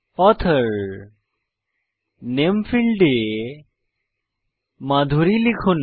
author নামে ফীল্ডে মাধুরি লিখুন